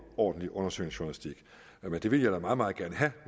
ordentlig undersøgende journalistik men det vil jeg da meget meget gerne have